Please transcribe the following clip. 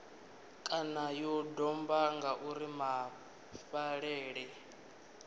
kana ya domba ngauri mafhaṱele